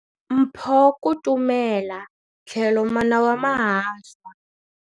Mpho Kutumela tlhelo mana wa mahahlwa.